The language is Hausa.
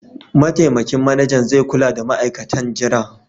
Mataimakin Manajan zai kula da ma'aikatan jira.